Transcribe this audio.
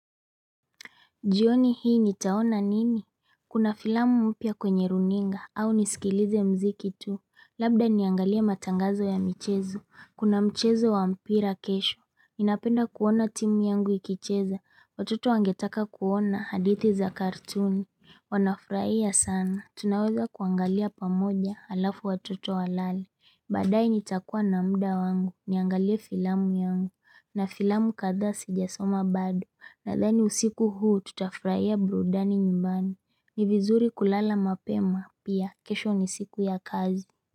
Jioni hii nitaona nini? Kuna filamu mpya kwenye runinga au nisikilize mziki tu. Labda niangalie matangazo ya michezo. Kuna mchezo wa mpira kesho. Ninapenda kuona timu yangu ikicheza. Watoto wangetaka kuona hadithi za kartuni. Wanafurahia sana. Tunaweza kuangalia pamoja halafu watoto walale. Badaaye nitakua na muda wangu. Niangalie filamu yangu. Na filamu kadhaa sijasoma bado. Nathani usiku huu tutafurahia burudani nyumbani. Nivizuri kulala mapema. Pia, kesho ni siku ya kazi.